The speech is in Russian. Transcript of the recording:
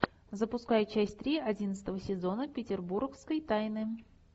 запускай часть три одиннадцатого сезона петербургской тайны